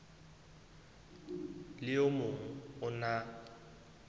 le o mong o na